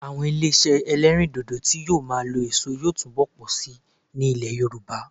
Àwọn ilé iṣẹ́ ẹlẹ́rìndòdò tí yóò máa lo èso yóò túbọ̀ pọ̀ síi ní ilẹ̀ Yorùbá